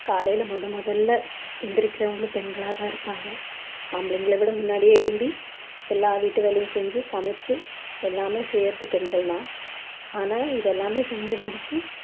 காலையில முதல் முதல்ல எந்திரிக்கிறவங்களும் பெண்களா தான் இருப்பாங்க ஆம்பளங்களை விட முன்னாடியே எழும்பி எல்லா வீட்டு வேலையும் செஞ்சு சமைச்சு எல்லாமே செய்யறது பெண்கள் தான் ஆனால் இதெல்லாமே செஞ்சு முடிச்சு